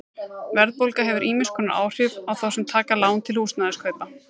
Verðbólga hefur ýmiss konar áhrif á þá sem taka lán til húsnæðiskaupa.